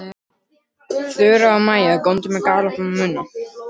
Þura og Maja góndu með galopna munna.